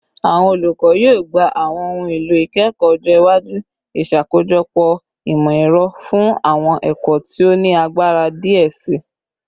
Awọn olukọ yoo gba awọn ohun elo ikẹkọ ọjọ iwaju, iṣakojọpọ imọ-ẹrọ fun awọn ẹkọ ti o ni agbara diẹ sii